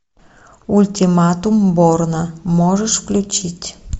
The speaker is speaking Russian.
ультиматум борна можешь включить